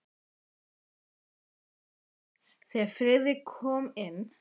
Gamla konan hreyfði sig ekki, þegar Friðrik kom inn.